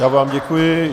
Já vám děkuji.